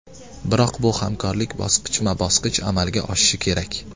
Biroq bu hamkorlik bosqichma-bosqich amalga oshishi kerak.